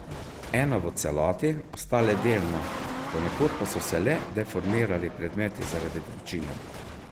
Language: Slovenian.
Ena v celoti, ostale delno, ponekod pa so se le deformirali predmeti zaradi vročine.